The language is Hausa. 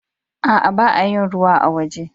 Aa, ba'a yin ruwa a'woje.